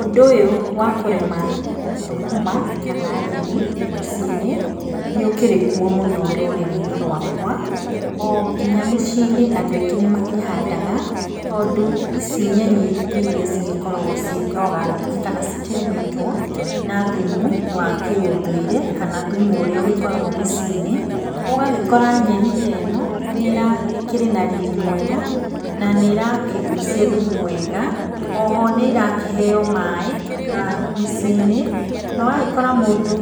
Ũndũ ũyũ wa kũrĩma thũkũma kana nyeni mĩciĩ-inĩ, nĩ ũkĩrĩ kuo mũno rũrĩrĩ-inĩ rwakwa, o nginya mĩciĩ-inĩ andũ aingĩ nĩ makĩhandaga tondũ ici nyeni nĩ iria cigĩkoragwo ciĩ organic kana cikĩrĩmĩtwo na thumu wa kĩũndũire kana thumu ũrĩa ũkoragwo mĩciĩ-inĩ. Ũgagĩkora nyeni teno ĩkĩrĩ na riri mwega na nĩ ĩrakĩgucia thumu wega, oho nĩ irakĩheo maĩ mĩciĩ-inĩ na ũgagĩkora mũndũ